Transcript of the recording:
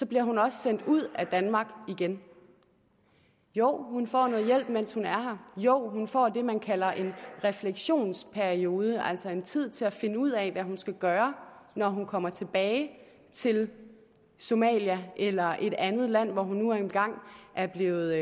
bliver hun også sendt ud af danmark igen jo hun får noget hjælp mens hun er her jo hun får det man kalder en refleksionsperiode altså noget tid til at finde ud af hvad hun skal gøre når hun kommer tilbage til somalia eller til et andet land hvor hun nu engang er blevet